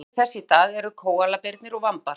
Skyldmenni þess í dag eru kóalabirnir og vambar.